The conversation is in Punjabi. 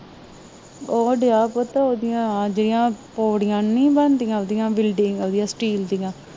ਉਹ ਦੀਆ ਪੁੱਤ ਓਦੀਆਂ ਆ ਜਿਹੜੀਆਂ ਪੌੜੀਆਂ ਨੂੰ ਨੀ ਬਣਦੀਆਂ ਉਹਦੀਆਂ ਵਿਲਡਿੰਗ ਵਾਲਿਆਂ ਸਟੀਲ ਦਿਆਂ